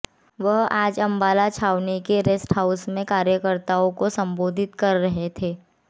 वह आज अम्बाला छावनी के रेस्ट हाउस में कार्यकताओं को सम्बोधित कर रहे थे